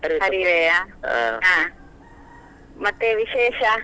ಹರಿವೆಯಾ, ಮತ್ತೆ ವಿಶೇಷ?